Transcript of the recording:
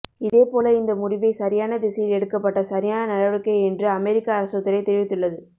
இதே போல இந்த முடிவை சரியான திசையில் எடுக்கப்பட்ட சரியான நடவடிக்கை என்று அமெரிக்க அரசு துறை தெரிவித்துள்ளது